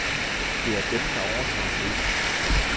Det er dem, der overtager scenen.